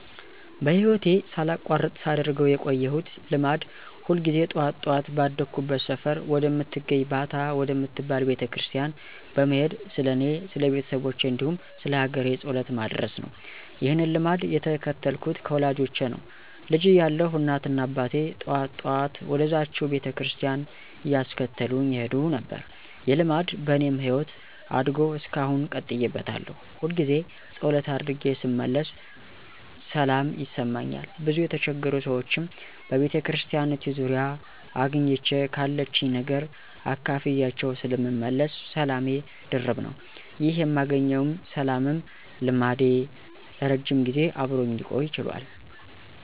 በህይወቴ ሳላቋርጥ ሳደርገው የቆየሁት ልማድ ሁል ጊዜ ጠዋት ጠዋት ባደኩበት ሰፈር ወደምትገኝ ባታ ወደምትባል ቤተክርስቲያን በመሄድ ስለኔ፣ ስለቤተሰቦቼ፣ እንዲሁም ስለሀገሬ ጸሎት ማድረስ ነው። ይህንን ልማድ የተከተልኩት ከወላጆቼ ነው። ልጅ እያለሁ እናትና አባቴ ጠዋት ጠዋት ወደዝችው ቤተክርስቲያን እያስከተሉኝ ይሄዱ ነበር። ይህ ልማድ በኔም ህይወት አድጎ እስካሁን ቀጥዬበታለሁ። ሁልጊዜ ፀሎት አድርጌ ስመለስ ሰላም ይሰማኛል፤ ብዙ የተቸገሩ ሰዎችንም በቤተክርስቲያኒቱ ዙሪያ አግኝቼ ካለችኝ ነገር አካፍያቸው ስለምመለስ ሰላሜ ድርብ ነው። ይህ የማገኘውም ሰላምም ልማዴ ለረጅም ጊዜ አብሮኝ ሊቆይ ችሏል።